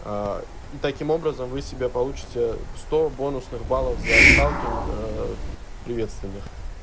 и таким образом вы себя получите сто бонусных баллов за сталкинг приветственных